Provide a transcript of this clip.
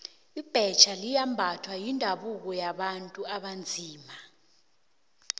ibhetjha liyimbatho yendabuko yabantu abanzima